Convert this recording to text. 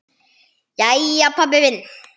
Jæja, pabbi minn.